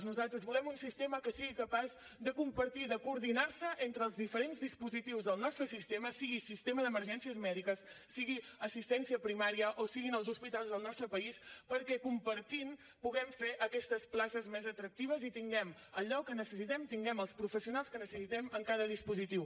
nosaltres volem un sistema que sigui capaç de compartir de coordinar se entre els diferents dispositius del nostre sistema sigui sistema d’emergències mèdiques sigui assistència primària o siguin els hospitals del nostre país perquè compartint puguem fer aquestes places més atractives i tinguem allò que necessitem tinguem els professionals que necessitem en cada dispositiu